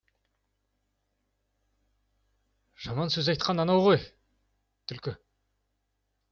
жаман сөз айтқан анау ғой түлкі